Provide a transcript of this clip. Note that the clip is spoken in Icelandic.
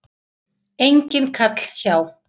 Enginn kall hjá